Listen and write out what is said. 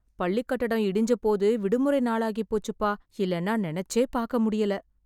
பள்ளிக் கட்டடம் இடிஞ்ச போது விடுமுறை நாளாகி போச்சுப்பா.. இல்லைன்னா நினைச்சே பாக்க முடியல.